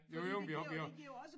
Jo jo men vi har vi har